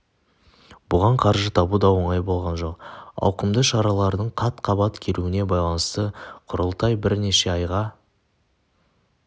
бұған қаржы табу да оңай болған жоқ ауқымды шаралардың қат-қабат келуіне байланысты құрылтай бір неше айға